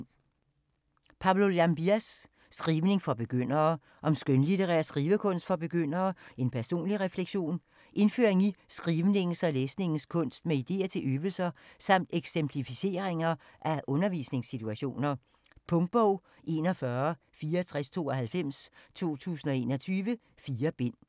Llambías, Pablo: Skrivning for begyndere: om skønlitterær skrivekunst for begyndere - en personlig refleksion Indføring i skrivningens og læsningens kunst med ideer til øvelser samt eksemplificeringer af undervisningssituationer. Punktbog 416492 2021. 4 bind.